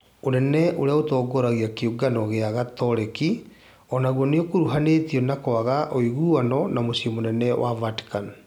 Ũnene ũrĩa ũtongoragia kĩũngano gĩa Gatoleki onaguo nĩũkuruhanĩtio na kwaga ũiguano na mũciĩ mũnene wa Vatican